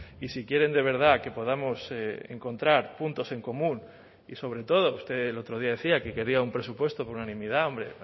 y si quieren de verdad que podamos encontrar puntos en común y sobre todo usted el otro día decía que quería un presupuesto por unanimidad hombre